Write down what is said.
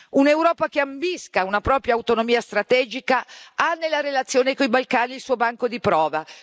Un'Europa che ambisca a una propria autonomia strategica ha nella relazione con i Balcani occidentali il suo banco di prova.